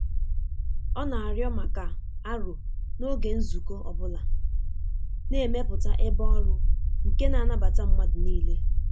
Ọ na-arịọ maka aro n'oge nzukọ ọ bụla, na-emepụta ebe ọrụ nke na-anabata mmadụ niile.